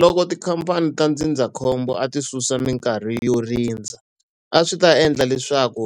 Loko tikhamphani ta ndzindzakhombo a ti susa minkarhi yo rindza, a swi ta endla leswaku